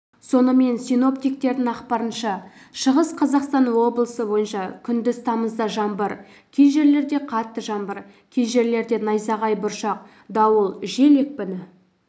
сонымен синоптиктердің ақпарынша шығыс қазақстан облысы бойынша күндіз тамызда жаңбыр кей жерлерде қатты жаңбыр кей жерлерде найзағай бұршақ дауыл жел екпіні